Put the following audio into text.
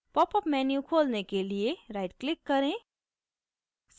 popअप menu खोलने के लिए right click करें